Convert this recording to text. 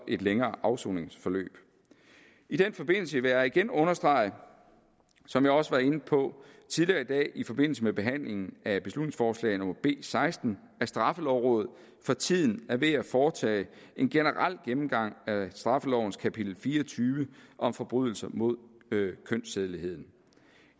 lidt længere afsoningsforløb i den forbindelse vil jeg igen understrege som jeg også var inde på tidligere i dag i forbindelse med behandlingen af beslutningsforslag b seksten at straffelovrådet for tiden er ved at foretage en generel gennemgang af straffelovens kapitel fire og tyve om forbrydelser mod kønssædeligheden